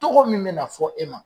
Tɔgɔ min bɛna fɔ e ma